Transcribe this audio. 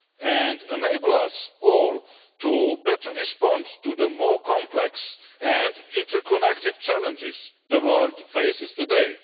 and enable us all to better respond to the more complex and interconnected challenges the world faces today.